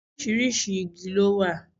Oríṣiríṣi igi ló wà.